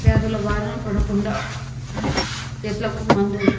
వ్యాధుల బారిన పడకుండా చెట్లకు మందు--